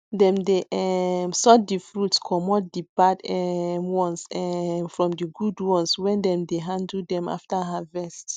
dem dey um sort di fruits comot di bad um ones um from di good ones wen dem dey handle them after harvest